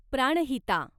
Pranhita